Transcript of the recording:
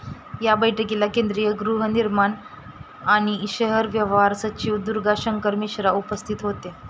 या बैठकीला केंद्रीय गृहनिर्माण आणि शहर व्यवहार सचिव दुर्गाशंकर मिश्रा उपस्थित होते.